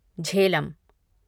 Jhelum